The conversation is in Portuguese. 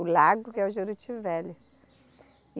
O lago que é o Juruti Velho.